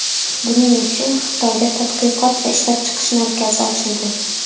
Buning uchun Xitoyda tadqiqot va ishlab chiqish markazi ochildi.